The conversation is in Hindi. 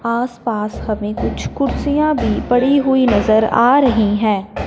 आस पास हमें कुछ कुर्सियां भी पड़ी हुई नजर आ रही हैं।